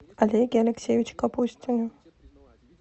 олеге алексеевиче капустине